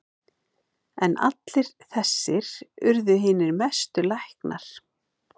En allir þessir urðu hinir mestu læknar.